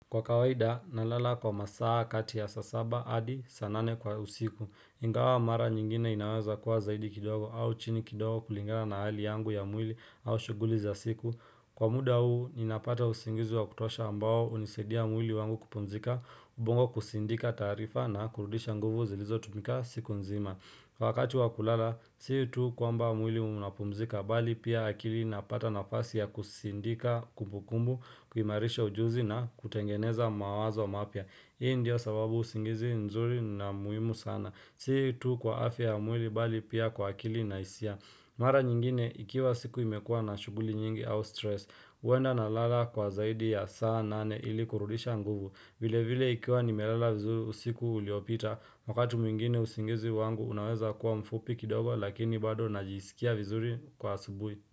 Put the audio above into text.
Kwa kawaida, nalala kwa masaa kati ya saa saba adi saa nane kwa usiku. Ingawa mara nyingine inaweza kuwa zaidi kidogo au chini kidogo kulingana na hali yangu ya mwili au shughuli za siku. Kwa muda huu, ninapata usingizi wa kutosha ambao hunisaidia mwili wangu kupumzika, ubongo kusindika taarifa na kurudisha nguvu zilizotumika siku nzima. Kwa wakati wa kulala, si tu kwamba mwili unapumzika bali pia akili inapata nafasi ya kusindika kumbukumbu, kuimarisha ujuzi na kutengeneza mawazo mapya. Hii ndiyo sababu usingizi nzuri na muhimu sana. Si tu kwa afya ya mwili bali pia kwa akili na hisia. Mara nyingine, ikiwa siku imekua na shughuli nyingi au stress, huenda nalala kwa zaidi ya saa nane ili kurudisha nguvu. Vile vile ikiwa nimelala vizuri usiku uliopita, wakati mwingine usingizi wangu unaweza kuwa mfupi kidogo, lakini bado najisikia vizuri kwa asubui.